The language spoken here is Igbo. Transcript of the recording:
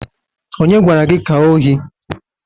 Onye gwara gi ka ohi?